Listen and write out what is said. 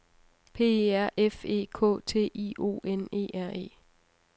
P E R F E K T I O N E R E